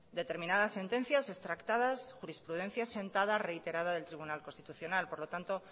determinadas sentencias extractadas jurisprudencia sentada reiterada del tribunal constitucional por lo tanto